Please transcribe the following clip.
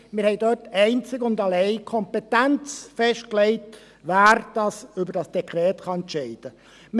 Wir haben dort einzig und allein die Kompetenz festgelegt, wer über dieses Dekret entscheiden kann.